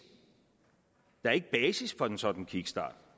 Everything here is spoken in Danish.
for en sådan kickstart